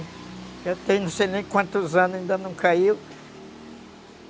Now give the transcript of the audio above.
Eu tenho não sei nem quantos anos, ainda não caiu.